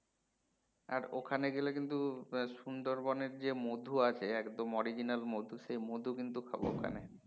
আর ওখানে গেলে কিন্তু হম সুন্দরবন এর যে মধু আছে একদম original মধু সেই মধু কিন্তু খাবো ওখানে